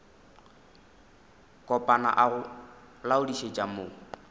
kopana a go laodišetša mo